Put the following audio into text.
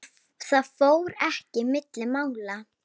Það fór ekki milli mála.